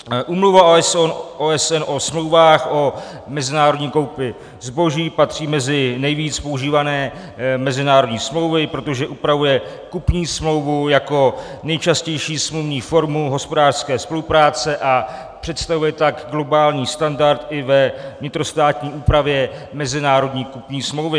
Úmluva OSN o smlouvách, o mezinárodní koupi zboží patří mezi nejvíc používané mezinárodní smlouvy, protože upravuje kupní smlouvu jako nejčastější smluvní formu hospodářské spolupráce, a představuje tak globální standard i ve vnitrostátní úpravě mezinárodní kupní smlouvy.